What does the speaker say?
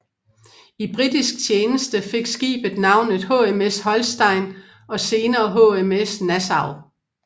I britisk tjeneste fik skibet navnet HMS Holstein og senere HMS Nassau